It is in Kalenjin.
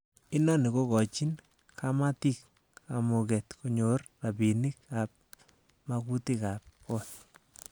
Inoni kokochin kamatik kamuget konyor rabinik ab magutikab got.